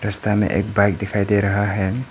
रस्ता में एक बाइक दिखाई दे रहा है।